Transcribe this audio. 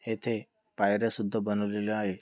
येथे पायर्‍या सुद्धा बनवलेल्या आहे.